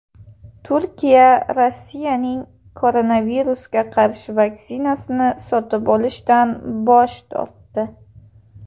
Turkiya Rossiyaning koronavirusga qarshi vaksinasini sotib olishdan bosh tortdi.